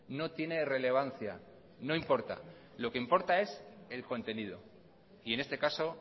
no tiene relevancia no importa lo que importa es el contenido y en este caso